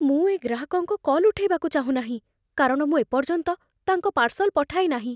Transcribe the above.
ମୁଁ ଏ ଗ୍ରାହକଙ୍କ କଲ୍ ଉଠେଇବାକୁ ଚାହୁଁନାହିଁ, କାରଣ ମୁଁ ଏ ପର୍ଯ୍ୟନ୍ତ ତାଙ୍କ ପାର୍ସଲ୍ ପଠାଇ ନାହିଁ।